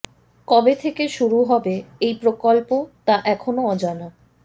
কবে থেকে শুরু হবে এই প্রকল্প তা এখনও অজানা